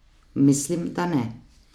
Mislim, da ne.